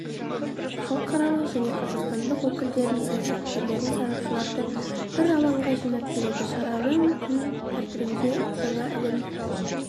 халықаралық және қазақстандық өкілдерін іаясаткерлерін сарапшыларды бір алаңға жинап келеді шараның күн тәртібінде жаңа әлемдік